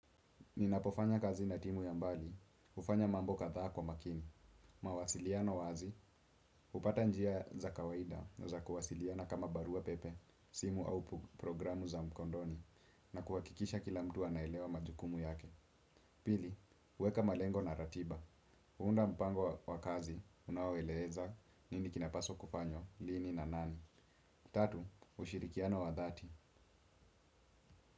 Ninapofanya kazi na timu ya mbali, hufanya mambo kadhaa kwa makini, mawasiliano wazi, hupata njia za kawaida na za kuwasiliana kama barua pepe, simu au programu za mkondoni, na kuhakikisha kila mtu anaelewa majukumu yake. Pili, weka malengo na ratiba, unda mpango wa kazi, unaoeleza, nini kinapaswa kufanywa, lini na nani, tatu, ushirikiano wa dhati.